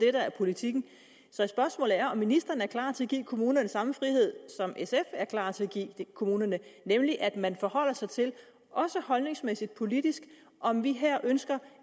er politikken så spørgsmålet er om ministeren er klar til at give kommunerne samme frihed som sf er klar til at give kommunerne nemlig at man forholder sig til også holdningsmæssigt politisk om vi her ønsker